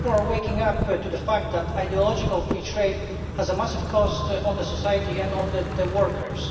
People are waking up to the fact that ideological free trade has a massive cost on society and on workers.